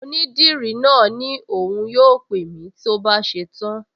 Onídìrí náà ní òun yóò pè mí tó bá ṣe tán